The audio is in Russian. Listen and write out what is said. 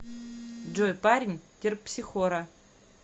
джой парень терпсихора